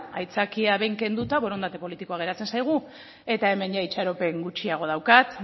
aitzakia behin kenduta borondate politiko geratzen zaigu eta hemen itxaropen gutxiago daukat